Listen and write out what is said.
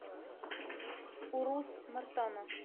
урус мартана